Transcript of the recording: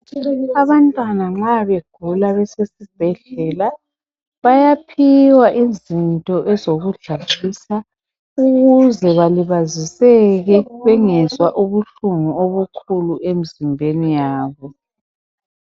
Abantwana nxa begula besesibhedlela, bayaphiwa izinto ezokudlalisa, ukuze balibaziseke, bengezwa ubuhlungu obukhulu emizimbeni yabo.